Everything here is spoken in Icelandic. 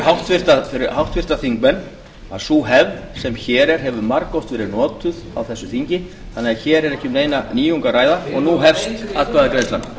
háttvirta þingmenn að sú hefð sem hér er hefur margoft verið notuð á þessu þingi þannig að hér er ekki um neina nýjung að ræða og nú hefst atkvæðagreiðslan